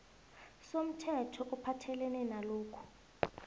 somthetho ophathelene nalokhu